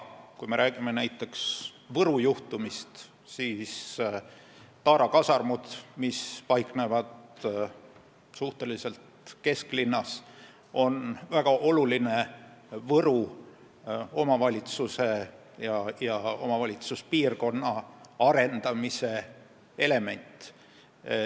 Kui me räägime näiteks Võru juhtumist, siis Taara kasarmud, mis paiknevad suhteliselt kesklinnas, on väga oluline Võru omavalitsuspiirkonna arendamise element.